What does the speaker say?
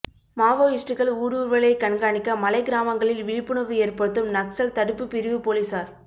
மாவோயிஸ்டுகள் ஊடுருவலைக் கண்காணிக்கமலை கிராமங்களில் விழிப்புணா்வு ஏற்படுத்தும் நக்ஸல் தடுப்புப் பிரிவு போலீஸாா்